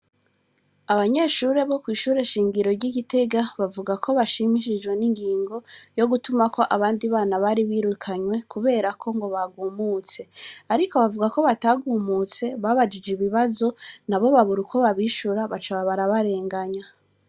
Abanyeshure bo kwishure shingiro ry'igitega bavuga ko bashimishijwe n'ingingo yo gutuma ko abandi bana bari birukanywe kuberako ngo bagumutse, ariko bavuga ko batagumutse babajije ibibazo na bo babura uko babishura baca babarabarenganya.